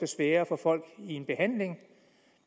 sværere at få folk i behandling